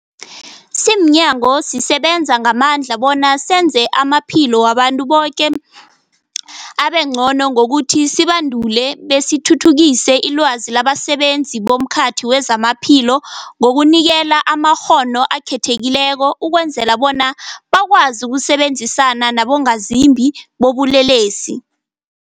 Simnyango, sisebenza ngamandla bona senze amaphilo wabantu boke abengcono ngokuthi sibandule besithuthukise ilwazi labasebenzi bomkhakha wezamaphilo ngokubanikela amakghono akhethekileko ukwenzela bona bakwazi ukusebenzisana nabongazimbi bobulelesi.